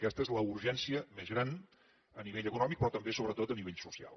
aquesta és la urgència més gran a nivell econòmic però també sobretot a nivell social